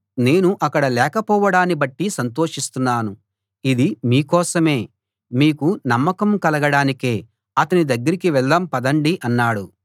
నేను అక్కడ లేకపోవడాన్ని బట్టి సంతోషిస్తున్నాను ఇది మీ కోసమే మీకు నమ్మకం కలగడానికే అతని దగ్గరకి వెళ్దాం పదండి అన్నాడు